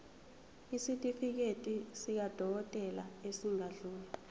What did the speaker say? isitifiketi sakwadokodela esingadluli